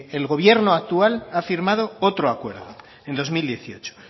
el gobierno actual ha firmado otro acuerdo en dos mil dieciocho